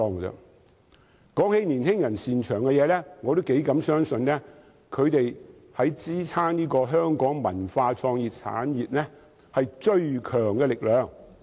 談到年青人擅長的東西，我相信他們是支撐香港文化創意產業最強大的力量。